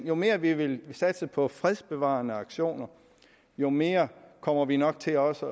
jo mere vi vil satse på fredsbevarende aktioner jo mere kommer vi nok til også